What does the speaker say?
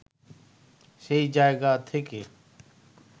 সেই জায়গা থেকে